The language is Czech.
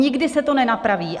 Nikdy se to nenapraví!